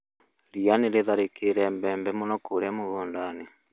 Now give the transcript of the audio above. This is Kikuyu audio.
Ria nĩrĩtharĩkĩire mbembe mũno kũrĩa mũgũndai-inĩ